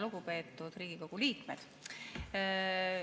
Lugupeetud Riigikogu liikmed!